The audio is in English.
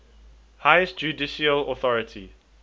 highest judicial authority